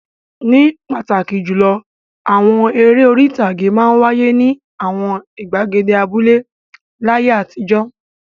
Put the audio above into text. Ní pàtàkì jùlọ, àwọn eré orí-ìtàgé máa ń wáyé ní àwọn ìgbàgede abúlé láyé àtijọ́.